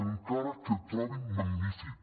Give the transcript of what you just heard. encara que trobin magnífic